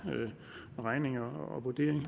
regning og vurdering